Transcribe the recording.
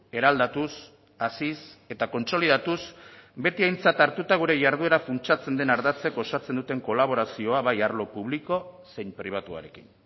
eraldatuz haziz eta kontsolidatuz beti aintzat hartuta gure jarduera funtsatzen den ardatzek osatzen duten kolaborazioa bai arlo publiko zein pribatuarekin